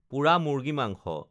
পোৰা মুৰ্গী মাংস